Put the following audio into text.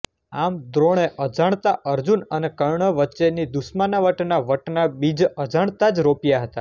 આમ દ્રોણે અજાણતા અર્જુન અને કર્ણ વચ્ચેની દુશ્મનાવટના વટના બીજ અજાણતા જ રોપ્યા હતાં